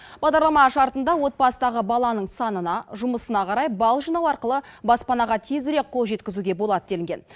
бағдарлама шартында отбасыдағы баланың санына жұмысына қарай балл жинау арқылы баспанаға тезірек қол жеткізуге болады делінген